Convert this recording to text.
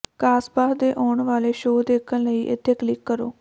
ਕਾਸਬਾਹ ਦੇ ਆਉਣ ਵਾਲੇ ਸ਼ੋਅ ਦੇਖਣ ਲਈ ਇੱਥੇ ਕਲਿੱਕ ਕਰੋ